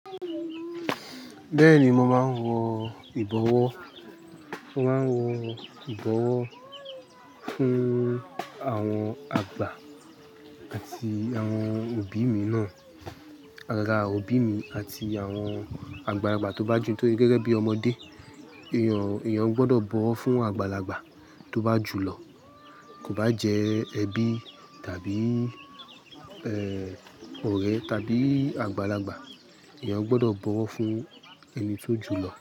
Bẹ́ẹ̀ni, mo máa ń wọ ìbọwọ́. Mo máa ń wọ ìbọwọ́ fún àwọn àgbà àti àwọn òbí mi náà. Àgàgà òbí mi àti àwọn àgbàlagbà tó bá ju tó gẹ́gẹ́ bí ọmọdé. Èèyàn, èèyàn gbọ́dọ̀ bọ̀wọ̀ fún àgbàlagbà tó bá jù lọ. Kò bá jẹ́ ẹbí tàbí, ọ̀rẹ́ tàbí àgbàlagbà, èèyàn gbọ́dọ̀ bọ̀wọ̀ fún ẹni tó jù lọ.